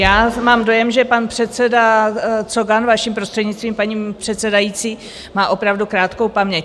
Já mám dojem, že pan předseda Cogan, vaším prostřednictvím, paní předsedající, má opravdu krátkou paměť.